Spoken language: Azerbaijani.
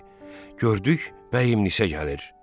gördük bəyimlinsə gəlir.